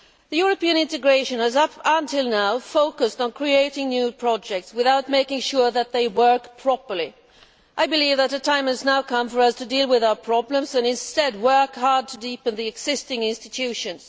European integration has, until now, focused on creating new projects without making sure that they work properly. I believe that the time has now come for us to deal with our problems and instead work hard to deepen the existing institutions.